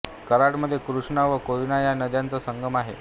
कराड मध्ये कृष्णा व कोयना या नद्यांचा संगम आहे